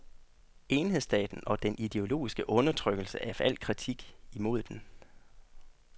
Enhedsstaten og den ideologiske undertrykkelse af al kritik imod den.